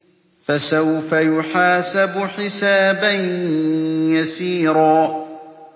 فَسَوْفَ يُحَاسَبُ حِسَابًا يَسِيرًا